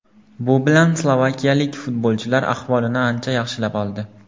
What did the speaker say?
Bu bilan slovakiyalik futbolchilar ahvolini ancha yaxshilab oldi.